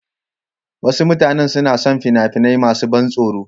Wasu mutane suna son fina-finai masu ban tsoro.